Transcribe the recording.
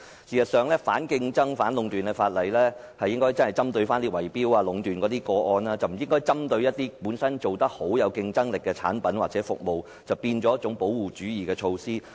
事實上，有關反競爭和反壟斷的法例應該針對圍標和壟斷等個案，而不應針對本身做得好、有競爭力的產品或服務，變成保護主義的措施。